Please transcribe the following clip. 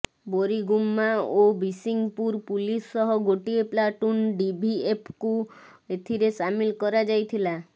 ବୋରିଗୁମ୍ମା ଓ ବିସିଂପୁର ପୁଲିସ ସହ ଗୋଟିଏ ପ୍ଲାଟୁନ ଡିଭିଏଫ୍କୁ ଏଥିରେ ସାମିଲ କରାଯାଇଥିଲା